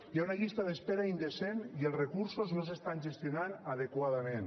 hi ha una llista d’espera indecent i els recursos no s’estan gestionant adequadament